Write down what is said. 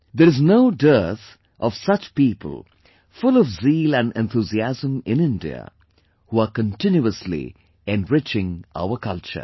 There is no dearth of such people full of zeal and enthusiasm in India, who are continuously enriching our culture